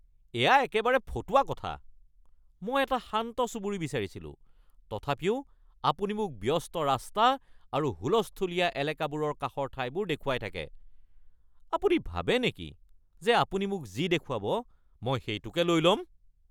এয়া একেবাৰে ফটুৱা কথা। মই এটা শান্ত চুবুৰী বিচাৰিছিলো, তথাপিও আপুনি মোক ব্যস্ত ৰাস্তা আৰু হুলস্থূলীয়া এলেকাবোৰৰ কাষৰ ঠাইবোৰ দেখুৱাই থাকে। আপুনি ভাবে নেকি যে আপুনি মোক যি দেখুৱাব মই সেইটোৱে লৈ ল'ম?